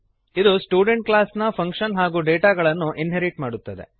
ಇದು student class ನ function ಹಾಗೂ ಡೇಟಾಗಳನ್ನು ಇನ್ಹೆರಿಟ್ ಮಾಡುತ್ತದೆ